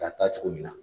Ka taa cogo min na